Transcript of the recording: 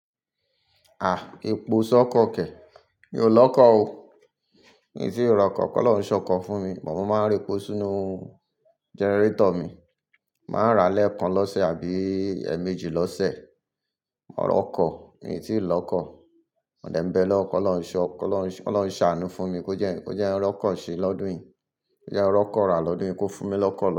Ah! Epo sọ́kọ̀ kẹ̀, mi ò lọ́kọ̀ o. Mi ò tíì rọ̀kọ̀, ki Ọlọ́run ṣọ́kọ̀ fún mi. But máa ń rí epo sínú gẹ́nẹ́tọ̀ mi. Máa ń ra lẹ́ẹ̀kan lọ́sẹ̀ àbí èèmejì lọ́sẹ̀. Mọ̀ ọ́ rọ́kọ̀, mi ò tíì lọ́kọ̀. Modẹ̀ mbẹ lọ́, ki Ọlọ́run ṣọ́, ki Ọlọ́run, Ọlọ́run ṣàánú fún mi kó jẹ́, kó jẹ́ ẹ́ rọ́kọ̀ ṣe lọ́dún yìí. Kó jẹ́ ẹ́ rọ́kọ rà lọ́dún yìí, kó fún mi lọ́kọ̀